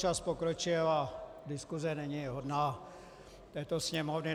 Čas pokročil a diskuse není hodná této Sněmovny.